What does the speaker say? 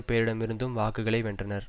பேரிடமிருந்தும் வாக்குகளை வென்றார்